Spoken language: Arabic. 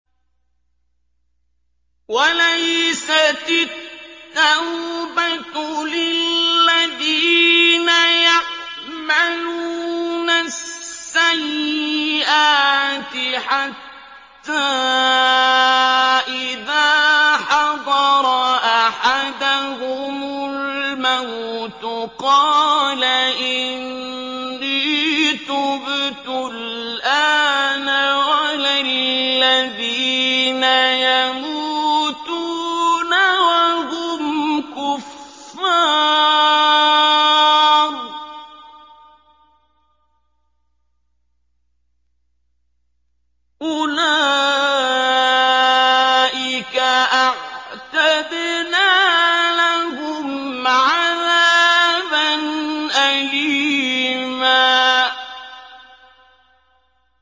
وَلَيْسَتِ التَّوْبَةُ لِلَّذِينَ يَعْمَلُونَ السَّيِّئَاتِ حَتَّىٰ إِذَا حَضَرَ أَحَدَهُمُ الْمَوْتُ قَالَ إِنِّي تُبْتُ الْآنَ وَلَا الَّذِينَ يَمُوتُونَ وَهُمْ كُفَّارٌ ۚ أُولَٰئِكَ أَعْتَدْنَا لَهُمْ عَذَابًا أَلِيمًا